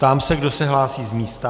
Ptám se, kdo se hlásí z místa.